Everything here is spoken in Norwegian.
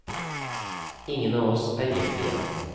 Ingen av oss er gift igjen.